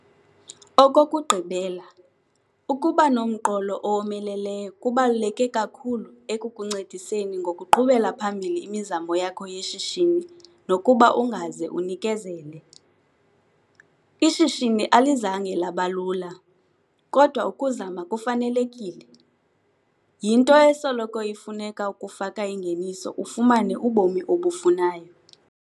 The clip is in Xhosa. Okokugqibela, ukuba nomqolo owomeleleyo kubaluleke kakhulu ekukuncediseni ngokuqhubela phambili imizamo yakho yeshishini nokuba ungaze unikezele. Ishishini alizange laba lula, kodwa ukuzama kufanelekile. Yinto esoloko ifuneka ukufaka ingeniso ufumane ubomi obufunayo.